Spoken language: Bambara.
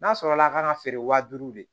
N'a sɔrɔla a kan ka feere wa duuru de